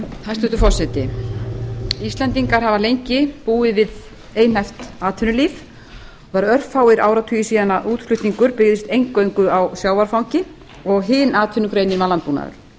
hæstvirtur forseti íslendingar hafa lengi búið við einhæft atvinnulíf og það eru örfáir áratugir síðan að útflutningur byggðist eingöngu á sjávarfangi og hin atvinnugreinin var landbúnaður